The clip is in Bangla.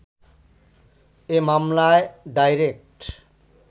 এ মামলায় ডাইরেক্ট